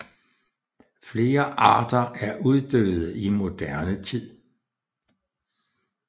Flere arter er uddøde i moderne tid